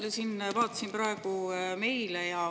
Ma siin vaatasin praegu meile.